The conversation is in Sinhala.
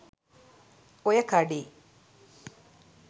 ඔය කඩේ